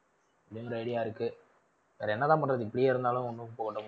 அந்த idea இருக்கு. அதென்ன தான் பண்றது இப்படியே இருந்தாலும் ஒண்ணும் போடவும் முடியாது.